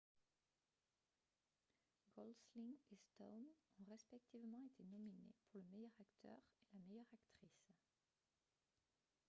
golsling et stone ont respectivement été nominés pour le meilleur acteur et la meilleure actrice